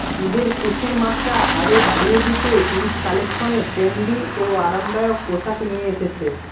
ঈদের খুশির মাত্রা আরো বাড়িয়ে দিতে ঈদ কালেকশনে ট্রেন্ডি ও আরামদায়ক পোশাক নিয়ে এসেছে